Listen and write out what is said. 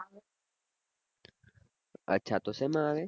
અચ્છા તો શેમાં આવે